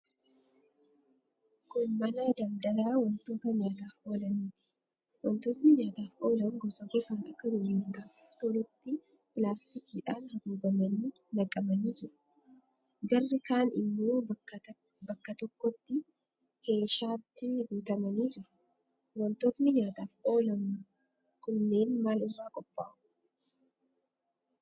Kun mana daldalaa wantoota nyaataaf oolaniiti. Wantootni nyaataaf oolan gosa gosaan akka gurgurtaaf tolutti pilaastikiidhaan haguugamanii naqamanii jiru. Garri kaan immoo bakka tokkotti keeshaatti guutamanii jiru. Wantootni nyaataaf oolan kunneen maal irraa qophaa'u?